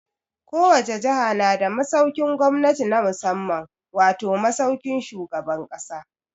Ko wace jaha na da masaukin gwamnati na musamman wato, masaukin shugaban ƙasa.